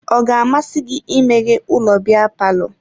Ọ ga-amasị gị imeghe ụlọ biya palọ?